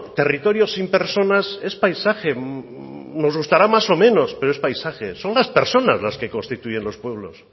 territorios sin personas es paisaje nos gustará más o menos pero es paisaje son las personas las que constituyen los pueblos